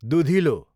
दुधिलो